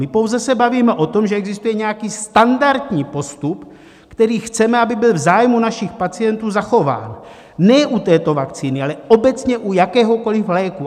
My se pouze bavíme o tom, že existuje nějaký standardní postup, který chceme, aby byl v zájmu našich pacientů zachován, ne u této vakcíny, ale obecně u jakéhokoli léku.